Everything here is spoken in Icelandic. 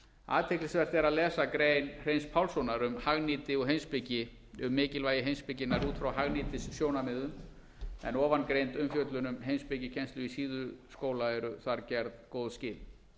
athyglisvert er að lesa ein hreins pálssonar um hagnýti og heimspeki um mikilvægi heimspekinnar út frá hagnýtissjónarmiðum en ofangreind umfjöllun um heimspekikennslu í síðuskóla eru þar gerð góð skil